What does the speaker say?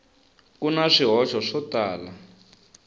ku na swihoxo swo tala